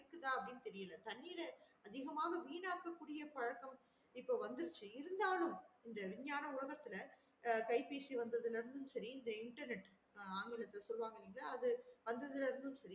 இதுக்கு தான் தெரியல தண்ணீர அதிகமா வீணாக்க கூடிய பழக்கம் இப்ப வந்துருச்சு இருந்தாலும் இந்த விஞ்ஞான உலககத்துல கைபேசி வந்தாதுல இருந்து செரி இந்த internet ஆங்கிலத்துல சொல்லுவாங்கன்கில அது அந்தது செரி